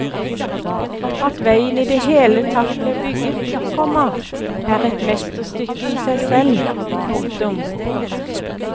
At veien i det hele tatt ble bygget, komma er et mesterstykke i seg selv. punktum